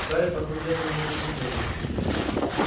гарри посмотрел на него с изумлением